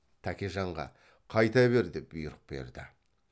тәкежанға қайта бер деп бұйрық берді